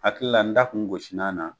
Hakili la n da kun gosila na